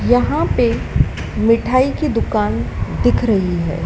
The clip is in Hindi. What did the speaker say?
यहां पे मिठाई की दुकान दिख रही है।